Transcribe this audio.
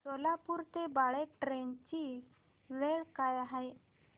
सोलापूर ते बाळे ट्रेन ची वेळ काय आहे